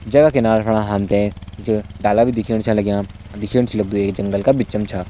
जैका किनारा फणा हम त कुछ डाला भी छ दिखेण लग्यां दिखेण से लगदु ये जंगल का बिचम छा।